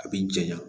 A bi janya